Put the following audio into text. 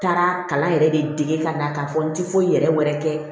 N taara kalan yɛrɛ de dege ka na k'a fɔ n ti foyi yɛrɛ wɛrɛ kɛ